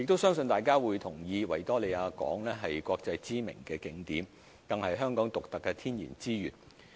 相信大家都同意，維多利亞港是國際知名的景點，更是香港獨特的天然資產。